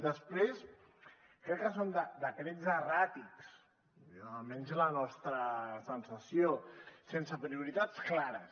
després crec que són decrets erràtics almenys és la nostra sensació sense prioritats clares